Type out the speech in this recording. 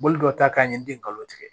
Bolo dɔ ta k'a ɲɛɲini ka tigɛ